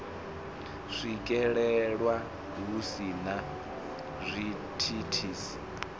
swikelelwa hu si na zwithithisi